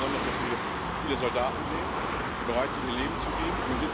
Ich freue mich auch besonders, dass wir viele Soldaten sehen, die bereit sind, ihr Leben zu geben.